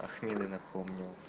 ахмеда напомнил